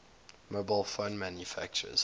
mobile phone manufacturers